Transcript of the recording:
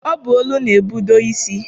Ọ bụ olu na-ebudo isi.